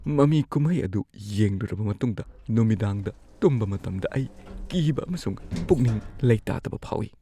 ꯃꯃꯤ ꯀꯨꯝꯍꯩ ꯑꯗꯨ ꯌꯦꯡꯂꯨꯔꯕ ꯃꯇꯨꯡꯗ ꯅꯨꯃꯤꯗꯥꯡꯗ ꯇꯨꯝꯕ ꯃꯇꯝꯗ ꯑꯩ ꯀꯤꯕ ꯑꯃꯁꯨꯡ ꯄꯨꯛꯅꯤꯡ ꯂꯩꯇꯥꯗꯕ ꯐꯥꯎꯏ꯫